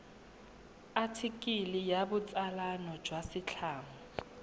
athikele ya botsalano jwa setlamo